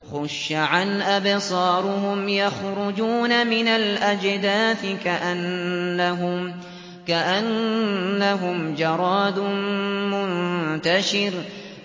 خُشَّعًا أَبْصَارُهُمْ يَخْرُجُونَ مِنَ الْأَجْدَاثِ كَأَنَّهُمْ جَرَادٌ مُّنتَشِرٌ